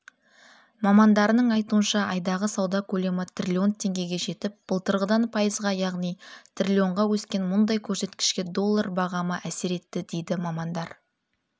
мамандарының айтуынша айдағы сауда көлемі триллион теңгеге жетіп былтырғыдан пайызға яғни триллионға өскен мұндай көрсеткішке доллар бағамы әсер етті дейді мамандар